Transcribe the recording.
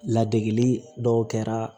Ladege dɔw kɛra